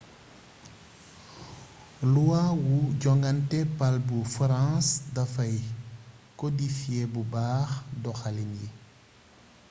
luwa wu joŋante pal bu farans dafay kodifiyee bu baax doxaliin yi